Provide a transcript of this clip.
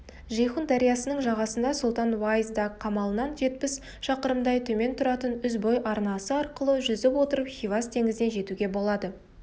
жейхун дариясының жағасында сұлтан-уайз-даг қамалынан жетпіс шақырымдай төмен тұратын үзбой арнасы арқылы жүзіп отырып хивас теңізіне жетуге болады